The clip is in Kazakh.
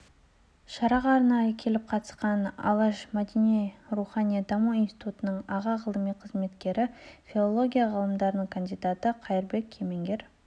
шараға арнайы келіп қатысқан алаш мәдени-рухани даму институтының аға ғылыми қызметкері филология ғылымдарының кандидаты қайырбек кемеңгер